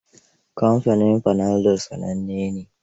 Kamfanin Panadol sananne ne.